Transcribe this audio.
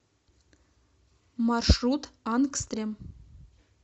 маршрут ангстрем